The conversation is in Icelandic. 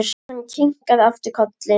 Hann kinkaði aftur kolli.